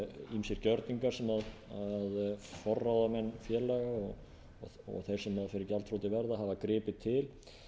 ýmsir gjörningar sem forráðamenn félaga og þeir sem fyrir gjaldþroti verða hafa gripið til